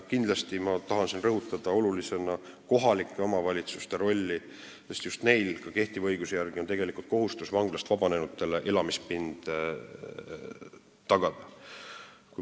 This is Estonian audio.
Kindlasti tahan ma olulisena rõhutada kohalike omavalitsuste rolli, sest just neil on ka kehtiva õiguse järgi kohustus vanglast vabanenutele elamispind tagada.